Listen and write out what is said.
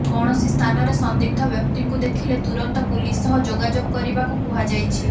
କୌଣସି ସ୍ଥାନରେ ସନ୍ଦିଗ୍ଧ ବ୍ୟକ୍ତିଙ୍କୁ ଦେଖିଲେ ତୁରନ୍ତ ପୁଲିସ ସହ ଯୋଗାଯୋଗ କରିବାକୁ କୁହାଯାଇଛି